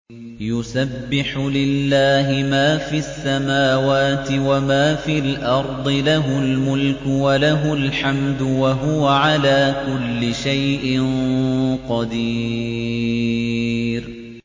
يُسَبِّحُ لِلَّهِ مَا فِي السَّمَاوَاتِ وَمَا فِي الْأَرْضِ ۖ لَهُ الْمُلْكُ وَلَهُ الْحَمْدُ ۖ وَهُوَ عَلَىٰ كُلِّ شَيْءٍ قَدِيرٌ